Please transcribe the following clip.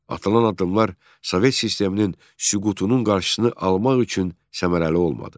Atılan addımlar sovet sisteminin süqutunun qarşısını almaq üçün səmərəli olmadı.